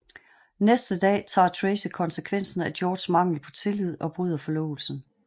Næste dag tager Tracy konsekvensen af Georges mangel på tillid og bryder forlovelsen